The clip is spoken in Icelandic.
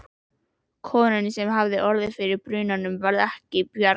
Konunni, sem hafði orðið fyrir brunanum, varð ekki bjargað.